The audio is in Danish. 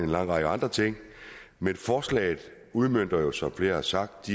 lang række andre ting men forslaget udmønter jo som flere har sagt